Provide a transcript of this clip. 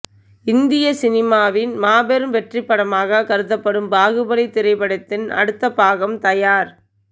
இந்திய சினிமாவின் மாபெரும் வெற்றிப்படமாக கருதப்படும் பாகுபலி திரைப்படத்தின் அடுத்த பாகம் தயார்